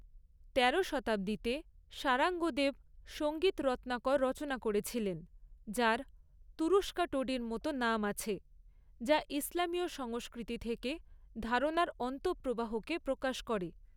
তেরো শতাব্দীতে শারাঙ্গদেব সঙ্গীত রত্নাকার রচনা করেছিলেন, যার তুরুস্কা টোডির মতো নাম আছে, যা ইসলামী সংস্কৃতি থেকে ধারণার অন্তঃপ্রবাহকে প্রকাশ করে।